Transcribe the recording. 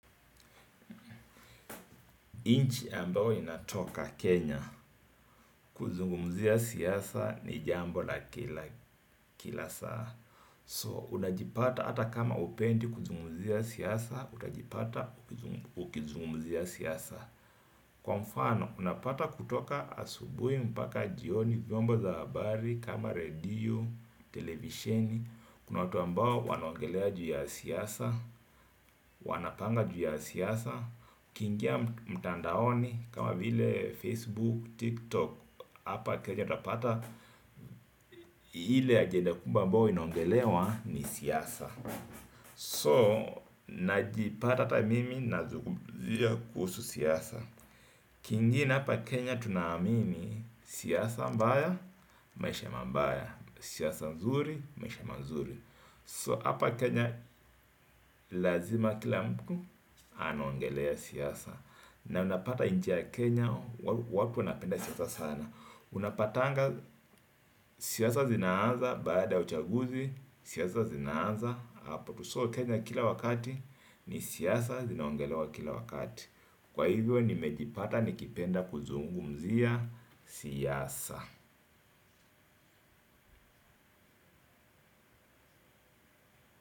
Inchi ambao inatoka Kenya kuzungumzia siasa ni jambo la kila kila saa. So unajipata hata kama hupendi kuzungumzia siasa utajipata ukizungumzia siasa. Kwa mfano unapata kutoka asubuhi mpaka jioni vyombo za habari kama redio televisheni. Kuna watu ambao wanaongelea juu ya siasa wanapanga juu ya siasa. Kiingia mtandaoni kama vile Facebook TikTok. Hapa Kenya utapata ile ajenda kubwa ambao inaongelewa ni siasa So najipata ata mimi na zungumzia kuhusu siasa. Kiingi hapa Kenya tunaamini siasa mbaya maisha mabaya. Siasa mzuri maisha mazuri So hapa Kenya lazima kila mtu anaongelea siasa na unapata nchi ya Kenya watu wanapenda siasa sana. Unapatanga siasa zinaanza baada ya uchaguzi. Siasa zinaaza apo tu so Kenya kila wakati ni siasa zinaongelewa kila wakati kwa hivyo nimejipata nikipenda kuzungumzia siasa.